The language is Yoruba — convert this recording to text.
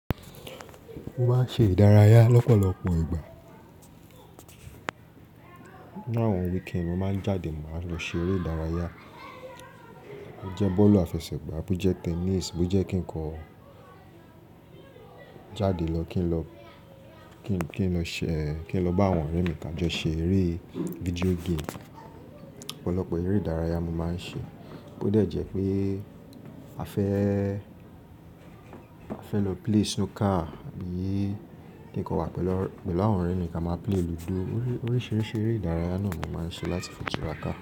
Mo máa ń ṣe ìdárayá lọ́pọ̀lọpọ̀ ìgbà. Ni àwọn weekend mo máa ń jáde mo máa lọ ṣe eré ìdárayá. Bo jẹ́ bọ́ọ̀lù àfẹsẹ̀gbá, bo jẹ́ tennis, bo jẹ́ kí n kọ jáde lọ kí n lọ kí n lọ ṣe kí n lọ bá àwọn ọ̀rẹ́ mi kà jọ ṣe eré video game. Ọ̀pọ̀lọpọ̀ eré ìdárayá mo máa ń ṣe. Bo déẹ̀ jẹ́ pé a fẹ́ a fẹ́ lọ play snooker, abi kí n kọ wà pẹ̀lú àwọn ọ̀rẹ́ mi kí a máa play lúdò. Oríṣiríṣi eré ìdárayá náà mo máa ń ṣe láti fi tura ka.